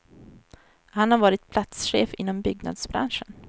Han har varit platschef inom byggnadsbranschen.